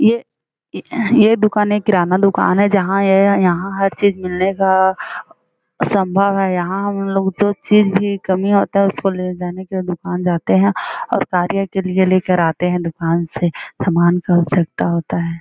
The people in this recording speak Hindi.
ये ये दुकान एक किराना दुकान है जहाँ यह यहाँ हर चीज मिलने का सम्भव है यहाँ हम लोग जो चीज का कमी होता है उसको ले जाने के लिए दुकान जाते हैं और कार्य के लिए लेकर आते हैं दुकान से समान का आवश्यकता होता है--